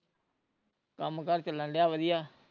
ਕੰਮ ਕਾਰ ਚੱਲਣ ਡਿਆ ਵਧੀਆ